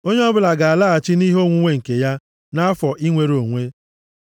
“ ‘Onye ọbụla ga-alaghachi nʼihe onwunwe nke ya, nʼafọ inwere onwe a.